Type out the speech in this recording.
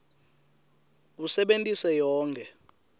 usebentise yonkhe